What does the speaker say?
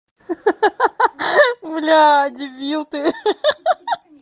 ха ха блять дебил ты ха ха